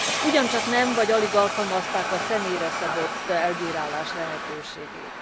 Ugyancsak nem, vagy alig alkalmazták a személyre szabott elbírálás lehetőségét.